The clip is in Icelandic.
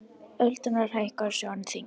Öldurnar hækka, sjórinn þyngist.